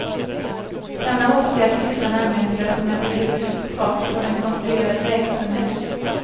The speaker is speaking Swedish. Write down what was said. Denna åtgärd syftar nämligen till att kunna bygga hus på taket av en konstruerad vägtunnel.